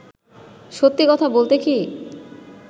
সত্যি কথা বলতে কি